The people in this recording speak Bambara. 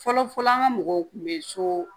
Fɔlɔ fɔlɔ an ka mɔgɔw kun bɛ so